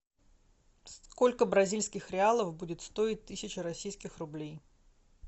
сколько бразильских реалов будет стоить тысяча российских рублей